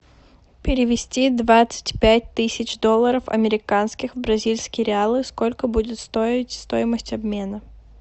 перевести двадцать пять тысяч долларов американских в бразильские реалы сколько будет стоить стоимость обмена